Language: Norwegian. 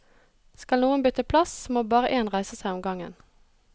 Skal noen bytte plass, må bare én reise seg om gangen.